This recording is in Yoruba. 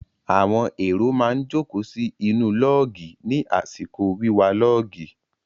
Àwọn èrò má ń jókòó sí inú lọ́ọ̀gì ní àsìkò wíwa lọ́ọ̀gì.